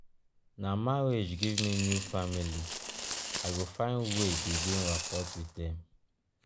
na marriage give me new family i go find way begin rapport wit dem.